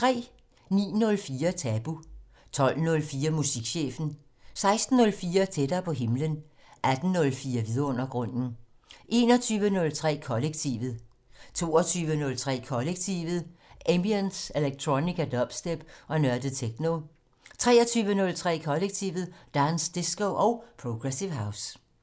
09:04: Tabu 12:04: Musikchefen 16:04: Tættere på himlen 18:04: Vidundergrunden 21:03: Kollektivet 22:03: Kollektivet: Ambient, electronica, dubstep og nørdet techno 23:03: Kollektivet: Dance, disco og progressive house